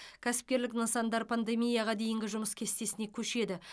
кәсіпкерлік нысандар пандемияға дейінгі жұмыс кестесіне көшеді